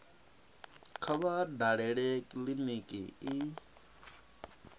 kha vha dalele kiliniki i